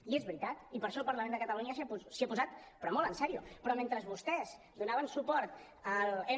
i és veritat i per això el parlament de catalunya s’hi ha posat però molt en sèrio però mentre vostès donaven suport a m